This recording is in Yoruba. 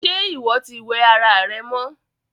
Ṣe iwọ tí wẹ̀ ará rẹ mọ́?